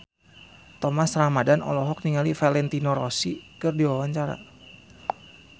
Thomas Ramdhan olohok ningali Valentino Rossi keur diwawancara